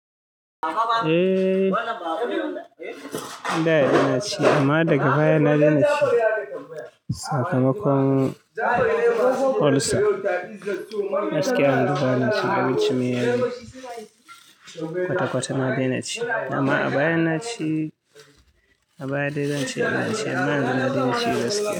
Eh, da na ci. Amma daga baya na daina ci. Sakamakon ulcer. Gaskiya, yanzu bana cin abinci mai yaji, kwata-kwata a daina ci. Amma a baya na ci. A baya dai zan ce na ci amma yanzu na daina ci gaskiya.